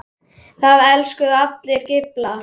Það elskuðu allir Gylfa.